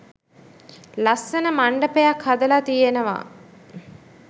ලස්සන මණ්ඩපයක් හදලා තියෙනවා.